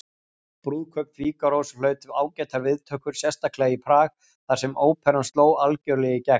Brúðkaup Fígarós hlaut ágætar viðtökur, sérstaklega í Prag þar sem óperan sló algjörlega í gegn.